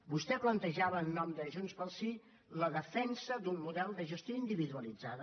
vostè plantejava en nom de junts pel sí la defensa d’un model de gestió individualitzada